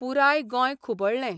पुराय गोंय खुबळ्ळें.